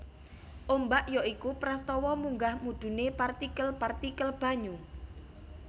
Ombak ya iku prastawa munggah mudhuné partikel partikel banyu